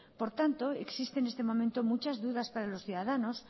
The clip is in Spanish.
por tanto existe en este momento muchas dudas para los ciudadanos